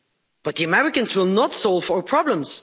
But the Americans will not solve our problems.